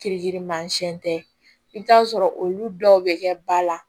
Kirikirimasiɲɛn tɛ i bɛ t'a sɔrɔ olu dɔw bɛ kɛ ba la